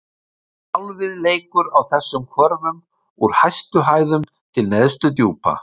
Sjálfið leikur á þessum hvörfum: úr hæstu hæðum til neðstu djúpa.